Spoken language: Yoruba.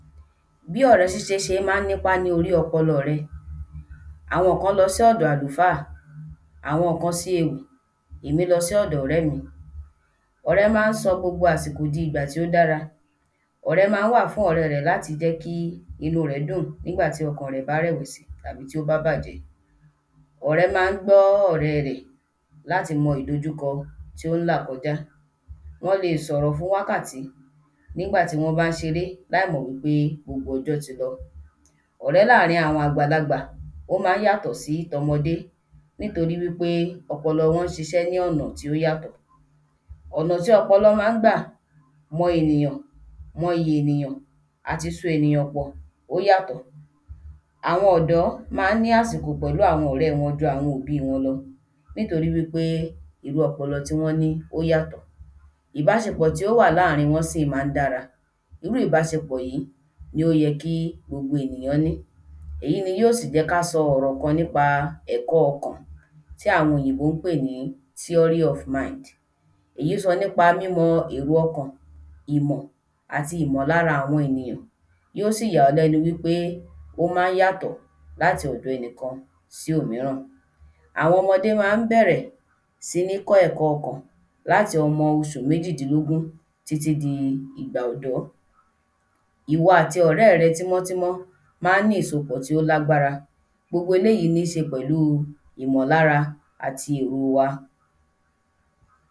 Bí ọ̀rẹ́ Ṣíṣe ṣe máa nípa ní ori ọpọlọ rẹ. Àwọn kán lọ́ si ọ̀dọ àlùfáà, àwọn kán siyekun, èmí lọ sí ọdọ ọrẹ mí. Ọ̀rẹ́ má nsọ gbogbo àsìkò dì ìgbà ti o dára Ọ̀rẹ́ má wa fún Ọ̀rẹ́ re láti jẹ kí inú rẹ̀ dùn nígbàtí ọkàn rẹ̀ bá rẹ̀wẹ̀sì tàbí ti o bá bàjẹ́. Ọ̀rẹ́ má n gbó Ọ̀rẹ́ rẹ̀ láti mọ ìdojúkọ ti o n là kọjá. Wọn lẹ sọrọ fún wákàtí Nígbà tí Won bá n ṣeré laimọ̀ wí pe gbogbo ọjọ́ ti lọ. Ọ̀rẹ́ láàrin àwọn àgbàlagbà o ma n yàtọ si tọmọdé nítorípé ọpọlọ wọn ṣiṣe ní ọ̀nà ti o yatọ Ònà ti ọpọlọ má n gbà mọ ènìyàn, mọ ìyì ènìyàn, àti só ènìyàn pọ̀. Àwọn ọ̀dọ́ ma ní àsìkò pẹ̀lú àwọn Ọ̀rẹ́ wọn jú àwọn òbí wọn lọ nítorí wí pe irú ọpọlọ ti wọn ní o yàtọ Ìbáṣepọ̀ to wà láàárín wọn si màá n dára. Irú Ìbáṣepọ̀ yìi ló yẹ ki gbogbo ènìyàn ma ní. Èyí ní o jẹ kí a sọ̀rọ̀ ní pa ẹ̀kọ́ àkọ́kọ́ ọkàn tí àwọn òyìnbó n pẹ ní theory of the mind, eyí sọ ní pa mímọ èrò ọkàn Ìmọ̀ àti Ìmọ̀lára àwọn èniyàn yóò si yà ọ́ lẹ́nu wí pe o má n yàtọ̀ láti ọ̀dọ̀ ẹnìkan sí òmíràn. Àwọn ọmọdé má n bẹrẹ si ní kọ́ ẹ̀kọ́ ọkàn láti ọmọ oṣù méjìdínlógún Titi di igba ọ̀dọ́. Ìwọ̀ ati ọ̀rẹ́ ri tímọ́tímọ́ rin má n ní ìsopọ̀ ti lágbára. Gbogbo eléyìí má n ní ṣe pẹ̀lú Ìmọ̀lára àti èrò wa.